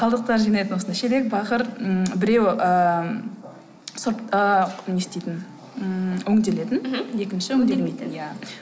қалдықтар жинайтын осындай шелек бақыр ммм біреуі ыыы сұрып ыыы не істейтін ммм өңделетін мхм екінші өңделмейтін иә